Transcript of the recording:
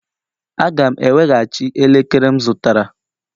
Aga m eweghachi elekere m zụtara